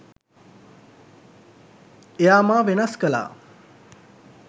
එයා මා වෙනස් කළා.